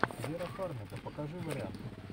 вера фармига покажи варианты